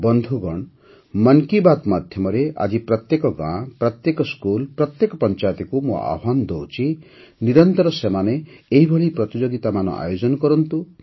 ବନ୍ଧୁଗଣ ମନ୍ କି ବାତ୍ ମାଧ୍ୟମରେ ଆଜି ପ୍ରତ୍ୟେକ ଗାଁ ପ୍ରତ୍ୟେକ ସ୍କୁଲ୍ ପ୍ରତ୍ୟେକ ପଞ୍ଚାୟତକୁ ମୁଁ ଆହ୍ୱାନ ଦେଉଛି ନିରନ୍ତର ସେମାନେ ଏହିପରି ପ୍ରତିଯୋଗିତାମାନ ଆୟୋଜନ କରନ୍ତୁ